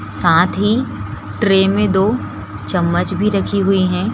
--साथ ही ट्रे में दो चम्मच भी रखी हुई है।